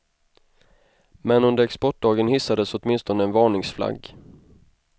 Men under exportdagen hissades åtminstone en varningsflagg.